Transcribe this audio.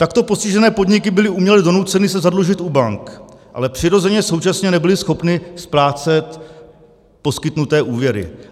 Takto postižené podniky byly uměle donuceny se zadlužit u bank, ale přirozeně současně nebyly schopny splácet poskytnuté úvěry.